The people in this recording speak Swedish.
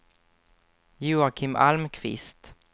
Joakim Almqvist